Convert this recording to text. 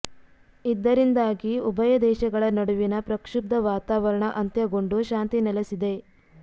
ಇದ್ದರಿಂದಾಗಿ ಉಭಯ ದೇಶಗಳ ನಡುವಿನ ಪ್ರಕ್ಷುಬ್ದ ವಾತವಾರಣ ಅಂತ್ಯಗೊಂಡು ಶಾಂತಿ ನೆಲೆಸಲಿದೆ